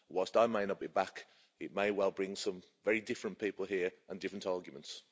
Whilst I may not be back, it may well bring some very different people here and different arguments.